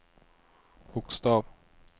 bokstav